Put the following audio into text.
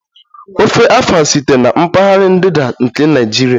Ofe Afang sitere na mpaghara ndịda nke Naijiria